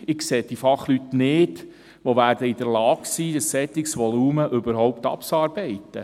Ich sehe die Fachleute nicht, die in der Lage sein werden, ein solches Volumen überhaupt abzuarbeiten.